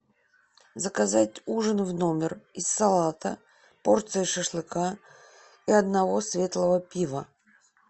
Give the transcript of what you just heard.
заказать ужин в номер из салата порции шашлыка и одного светлого пива